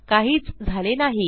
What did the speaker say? काहीच झाले नाही